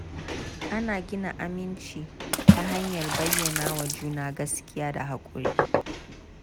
Ana gina aminci ta hanyar bayyana wa juna gaskiya da haƙuri.